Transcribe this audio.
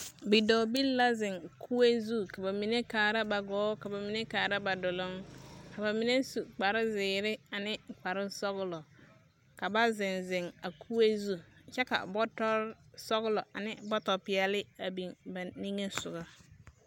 Bidɔɔbil la zeŋ kue zu ka ba mine kaa duloŋ ka ba mine kaaara ba gɔɔ, ka ba mine su kpare zeere ane kpare sɔglɔ, ka ba zeŋ, zeŋ a kue zu kyɛ ka bɔtɔre sɔglɔ ane bɔtɔ peɛle biŋ kɔge ba a ba niŋe sogɔ.